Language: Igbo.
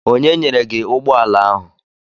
Onye nyere gị ụgbọala ahụ?